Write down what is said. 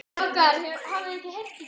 Hvað með börnin okkar?